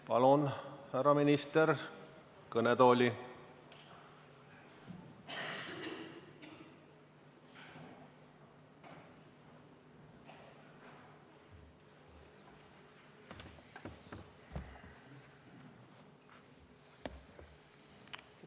Palun teid, härra minister, kõnetooli!